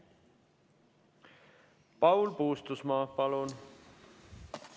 Paul Puustusmaa, palun!